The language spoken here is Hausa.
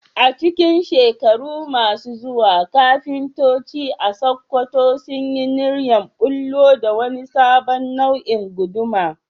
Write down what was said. A cikin shekaru masu zuwa, kafintoci a Sakkwato sun yi niyyar bullo da wani sabon nau'in guduma